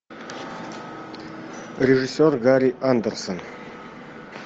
режиссер гарри андерсон